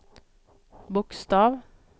bokstav